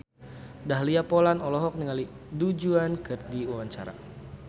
Dahlia Poland olohok ningali Du Juan keur diwawancara